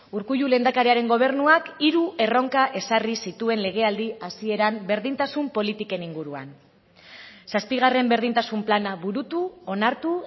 urkullu lehendakariaren gobernuak hiru erronka ezarri zituen legealdi hasieran berdintasun politiken inguruan zazpigarren berdintasun plana burutu onartu